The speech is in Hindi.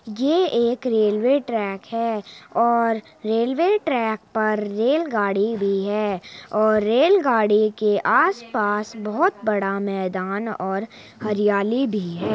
क रेलवे ट्रैक है और रेलवे ट्रैक पर रेल गाड़ी भी है और रेल गाड़ी के आस पास बहुत बड़ा मैदान और हरियाली भी है।